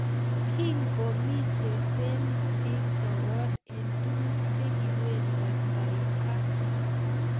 Kimkomii sesenik chik sogol eng tukuk che kiwenditai ak.